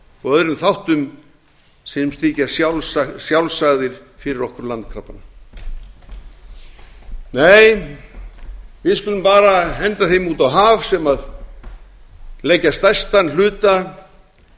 og öðrum þáttum sem þykja sjálfsagðir fyrir okkur landkrabbana nei við skulum bara henda þeim út á haf sem leggja stærstan hluta